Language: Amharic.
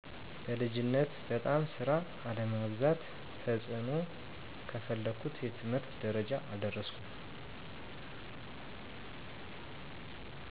በልጅነት በጣም ስራ አለማብዛት ተጽእኖው ከፈለኩት የትምህርት ደረጃ አልደረስኩም